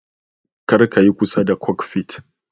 Kar ka yi kusa da "kokfit".